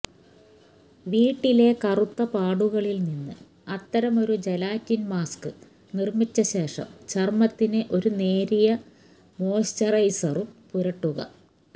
വീട്ടിലെ കറുത്ത പാടുകളിൽ നിന്ന് അത്തരമൊരു ജെലാറ്റിൻ മാസ്ക് നിർമ്മിച്ച ശേഷം ചർമ്മത്തിന് ഒരു നേരിയ മോയ്സ്ചറൈസറും പുരട്ടുക